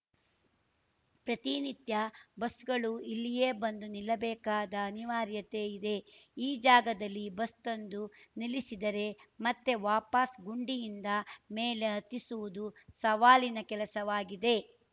ಪ್ರತಿನಿತ್ಯ ಬಸ್‌ಗಳು ಇಲ್ಲಿಯೇ ಬಂದು ನಿಲ್ಲಬೇಕಾದ ಅನಿವಾರ್ಯತೆ ಇದೆ ಈ ಜಾಗದಲ್ಲಿ ಬಸ್‌ ತಂದು ನಿಲ್ಲಿಸಿದರೆ ಮತ್ತೆ ವಾಪಾಸ್‌ ಗುಂಡಿಯಿಂದ ಮೇಲೆ ಹತ್ತಿಸುವುದು ಸವಾಲಿನ ಕೆಲಸವಾಗಿದೆ